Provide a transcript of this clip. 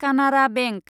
Canara bank